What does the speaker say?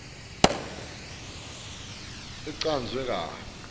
itheksthi icanjwe kabi